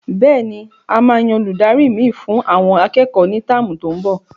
Bẹ́ẹ̀ni,a máa yan Olùdarí mi fún àwọn akẹ́kọ̀ọ́ ni táàmù tó n bò